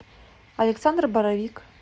александр боровик